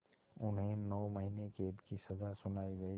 उन्हें नौ महीने क़ैद की सज़ा सुनाई गई